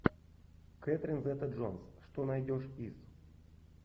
кэтрин зета джонс что найдешь из